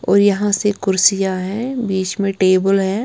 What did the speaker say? और यहां से कुर्सियां है बीच में टेबल है।